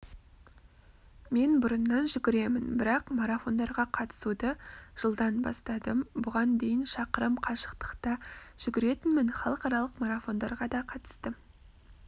мен бұрыннан жүгіремін бірақ марафондарға қатысуды жылдан бастадым бұған дейін шақырымқашықтықта жүгіретінмін халықаралық марафондарға да қатыстым